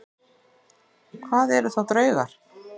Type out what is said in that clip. Hvað eru þá draugar?